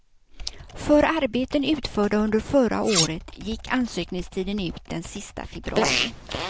För arbeten utförda under förra året gick ansökningstiden ut den sista februari.